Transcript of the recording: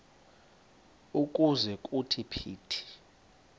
ukuze kuthi phithi